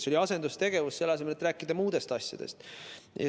See oli asendustegevus selle asemel, et rääkida muudest asjadest.